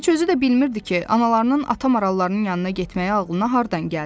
Heç özü də bilmirdi ki, analarının ata marallarının yanına getməyi ağlına hardan gəldi.